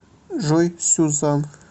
джой сюзан